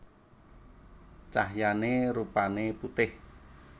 Cahyané rupané putih